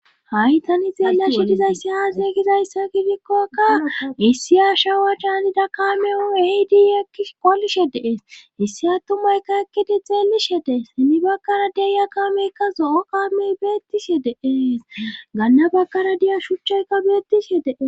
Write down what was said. Haysani xeella shidizayssi haasey gizayssa gidikkokka issi aashawe chaanida kaameu ehidi ekkis qolishe deees issi attumaykka ekkidi xeelishe dees ini bakkara deeya kaameykka zo7o kaamey beettishe deees ganna bakara diya shuchayka beettishe dees.